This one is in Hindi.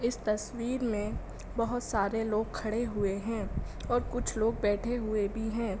इस तस्वीर में बहोत सारे लोग खड़े हुए हैंऔर कुछ लोग बैठे हुए भी हैं।